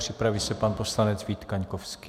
Připraví se pan poslanec Vít Kaňkovský.